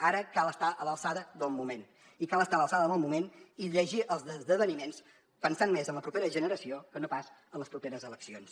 ara cal estar a l’alçada del moment i cal estar a l’alçada del moment i llegir els esdeveniments pensant més en la propera generació que no pas en les properes eleccions